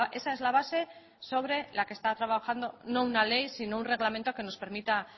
esa es la base sobre la que está trabajando no una ley sino un reglamento que nos permita